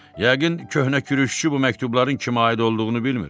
Yəqin köhnə kürüşçü bu məktubların kimə aid olduğunu bilmir.